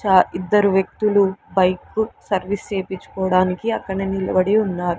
చా ఇద్దరు వ్యక్తులు బైక్కు సర్వీస్ చేపించుకోడానికి అక్కన నిలవడి ఉన్నా--